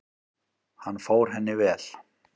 Hann fór henni vel.